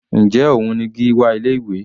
Njẹ́ òun ni Gíwá ilé ìwé?